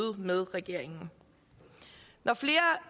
med regeringen når flere